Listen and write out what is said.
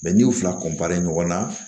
n'i y'u fila ɲɔgɔn na